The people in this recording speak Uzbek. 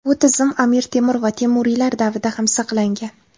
Bu tizim Amir Temur va temuriylar davrida ham saqlangan.